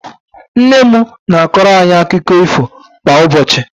Nnenne m na-akọrọ anyị akụkọ ífò kwa ụbọchị.